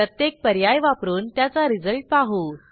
प्रत्येक पर्याय वापरून त्याचा रिझल्ट पाहू